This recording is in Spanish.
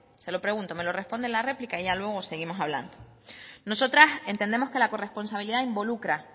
se lo pregunto me lo responde en la réplica y ya luego seguimos hablando nosotras entendemos que la corresponsabilidad involucra